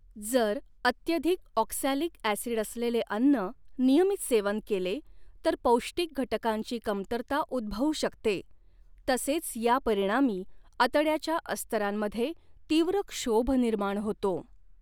जर अत्यधिक oxalic acid असलेले अन्न नियमित सेवन केले तर पौष्टिक घटकांची कमतरता उद्भवू शकते तसेच यापरिणामी आतड्याच्या अस्तरांमध्ये तीव्र क्षोभ निर्माण होतो.